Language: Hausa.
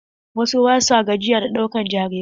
Wasu ba sua gajiya da ɗaukan jarirai.